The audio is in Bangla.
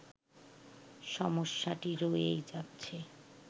সমস্যাটি রয়েই যাচ্ছে